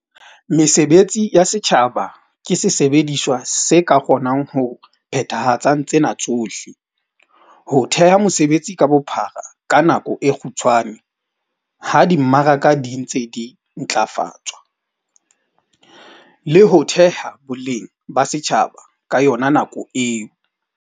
Mesebetsi ya setjhaba ke sesebediswa se ka kgonang ho phethahatsang tsena tsohle- ho theha mesebetsi ka bophara ka nako e kgutshwane ha di mmaraka di ntse di ntlafatswa, le ho theha boleng ba setjhaba ka yona nako eo.